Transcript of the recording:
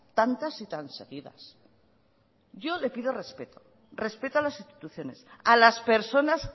tantas y tan seguidas yo le pido respeto respeto a las instituciones a las personas